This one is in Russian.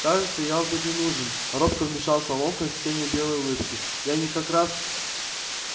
кажется я вам тут не нужен робко вмешался локонс с тенью былой улыбки и они как раз